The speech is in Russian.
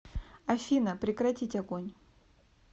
афина прекратить огонь